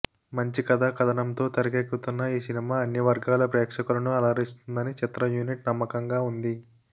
మంచి కథ కథనంతో తెరకెక్కుతున్న ఈ సినిమా అన్ని వర్గాల ప్రేక్షకులను అలరిస్తుందని చిత్ర యూనిట్ నమ్మకంగా ఉంది